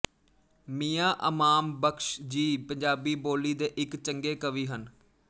ਮੀਆਂ ਅਮਾਮ ਬਖ਼ਸ਼ ਜੀ ਪੰਜਾਬੀ ਬੋਲੀ ਦੇ ਇੱਕ ਚੰਗੇ ਕਵੀ ਹਨ